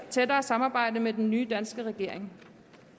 tættere samarbejde med den nye danske regering